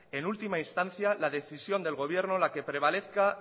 en última instancia la decisión del gobierno la que prevalezca